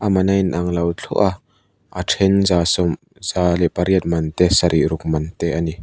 man a in ang lo thluah a a then za leh pariat man te sarih ruk man te a ni.